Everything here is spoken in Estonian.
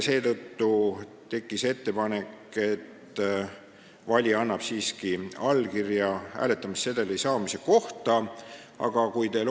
Seetõttu tekkis ettepanek, et valija annaks siiski hääletamissedeli saamise kohta allkirja.